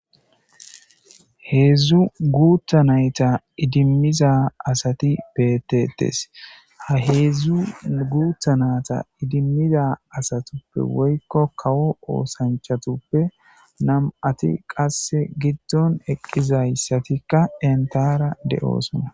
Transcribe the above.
Hedzu guuttha nayta idimmiza asati beetetes ha hedzu guutha naata idimmiza asatuppe woykko kawo oosanchatuppe nam'ati qasse giddon eqqizayssatikka entara de'osona